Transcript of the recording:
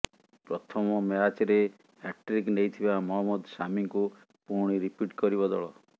ପ୍ରଥମ ମ୍ୟାଚରେ ହ୍ୟାଟ୍ରିକ୍ ନେଇଥିବା ମହମ୍ମଦ ସାମିଙ୍କୁ ପୁଣି ରିପିଟ୍ କରିବ ଦଳ